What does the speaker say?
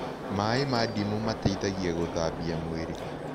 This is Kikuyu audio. Mae mah ndĩmũ mateĩthagĩa gũthambĩa mwĩrĩ